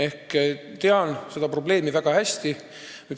Ma tean seda probleemi väga hästi.